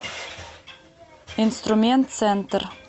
инструмент центр